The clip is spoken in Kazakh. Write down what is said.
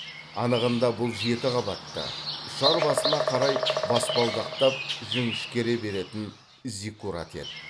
анығында бұл жеті қабатты ұшар басына қарай баспалдақтап жіңішкере беретін зиккурат еді